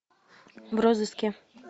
в розыске